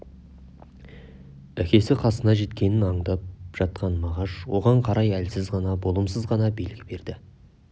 әкесі қасына жеткенін аңдап жатқан мағаш оған қарай әлсіз ғана болымсыз ғана белгі берді